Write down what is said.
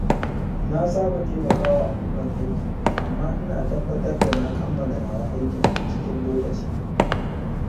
Na saba taimaka wa abokan aiki amma ina tabbatar da na kammala nawa aikin cikin lokaci.